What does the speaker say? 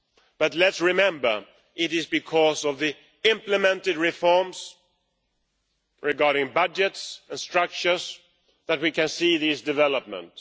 but let's remember that it is because of the implemented reforms regarding budgets and structures that we can see these developments.